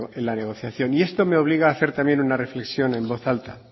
en la negociación y esto me obliga a hacer también una reflexión en voz alta